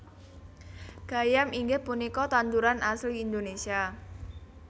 Gayam inggih punika tanduran asli Indonesia